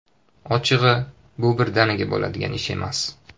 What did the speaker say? Ochig‘i, bu birdaniga bo‘ladigan ish emas.